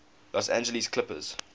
los angeles clippers